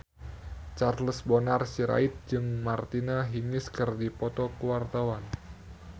Charles Bonar Sirait jeung Martina Hingis keur dipoto ku wartawan